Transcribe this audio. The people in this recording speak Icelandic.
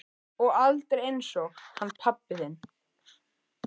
Og aldrei einsog hann pabbi þinn.